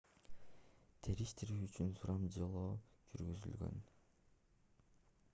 териштирүү үчүн сурамжылоо жүргүзүлгөн